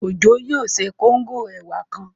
Òjó yóò ṣe kóngò ẹ̀wà kan